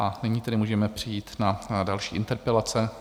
A nyní tedy můžeme přejít na další interpelace.